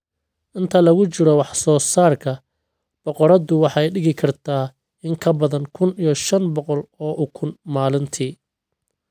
Inta lagu jiro wax soo saarka, boqoraddu waxay dhigi kartaa in ka badan kun iyo shan boqol oo ukun maalintii.